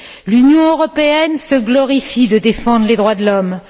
L'Union européenne se glorifie de défendre les droits de l'homme.